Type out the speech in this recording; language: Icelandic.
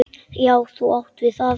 Já, þú átt við það!